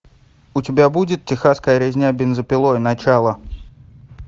у тебя будет техасская резня бензопилой начало